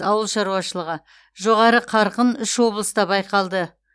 ауыл шаруашылығы жоғары қарқын үш облыста байқалды